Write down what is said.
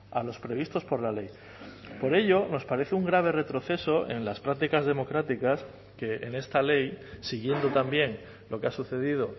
a los previstos por la ley por ello nos parece un grave retroceso en las prácticas democráticas que en esta ley siguiendo también lo que ha sucedido